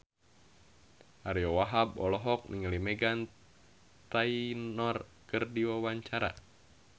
Ariyo Wahab olohok ningali Meghan Trainor keur diwawancara